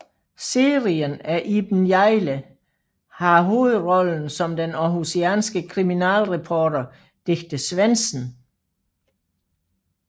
Serien er Iben Hjejle har hovedrollen som den aarhusianske kriminalreporter Dicte Svendsen